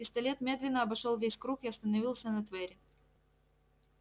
пистолет медленно обошёл весь круг и остановился на твере